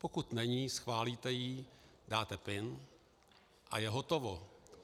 Pokud není, schválíte ji, dáte pin a je hotovo.